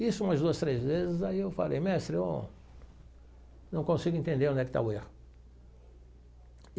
Isso umas duas, três vezes, aí eu falei, mestre, eu não consigo entender onde é que está o erro.